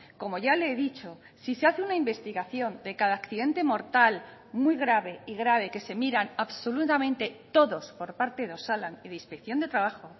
como ya le he dicho si se hace una investigación de cada accidente mortal muy grave y grave que se miran absolutamente todos por parte de osalan y de inspección de trabajo